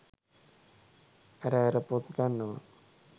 ඇර ඇර පොත් ගන්නවා.